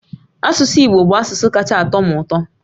Asụsụ Igbo bụ asụsụ kacha atọ m ụtọ